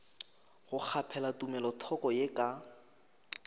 go kgaphela tumelothoko ye ka